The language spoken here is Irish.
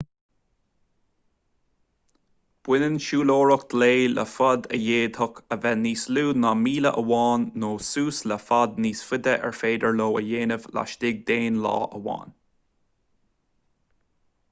baineann siúlóireacht lae le faid a d'fhéadfadh a bheith níos lú ná míle amháin nó suas le faid níos faide ar féidir leo a dhéanamh laistigh d'aon lá amháin